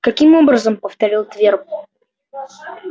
каким образом повторил твер